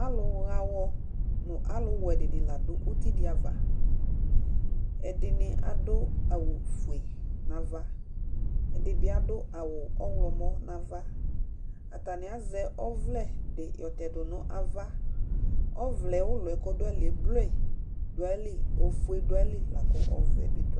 Alʊ ya ayɔ nakʊwɛ dɩnɩ la dʊ ʊtɩdɩ ava Ɛdɩnɩ adʊ awʊ fʊe nava, ɛdɩbɩ adʊ awʊ ɔwlɔmɔ nava Atanɩ azɛ ɔvlɛ dɩ yɔtɛdʊ nʊ ava Ɔvlɛ ʊlɔ kɔdʊ ayɩlɩ blʊe, ofʊe bɩ dʊ ayɩlɩ lakʊ ɔvɛ bɩ dʊ ayɩlɩ